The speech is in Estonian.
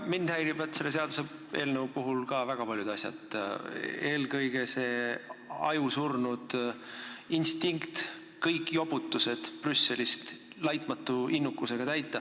Mind häirivad selle seaduseelnõu puhul ka väga paljud asjad, eelkõige see ajusurnud instinkt kõiki jobutusi Brüsselist laitmatu innukusega täita.